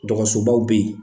Dɔgɔsobaw bɛ yen